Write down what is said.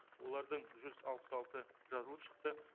олардың жүз алпыс алты жазылып шықты